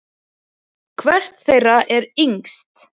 Hvert þeirra er yngst?